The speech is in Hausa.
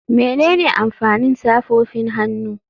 Menene amfanin safofin hannu?